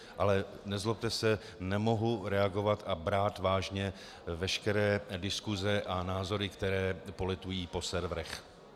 Ale nezlobte se, nemohu reagovat a brát vážně veškeré diskuse a názory, které poletují po serverech.